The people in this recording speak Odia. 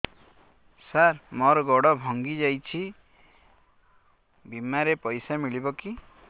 ସାର ମର ଗୋଡ ଭଙ୍ଗି ଯାଇ ଛି ବିମାରେ ପଇସା ମିଳିବ କି